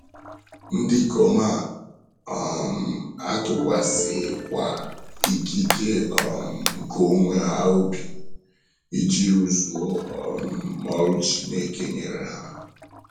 Ndị ikom a um atụkwasịghịkwa ikike um nke onwe ha obi, iji rụzuo um ọrụ Chineke nyere ha.